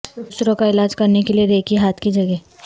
دوسروں کا علاج کرنے کے لئے ریکی ہاتھ کی جگہیں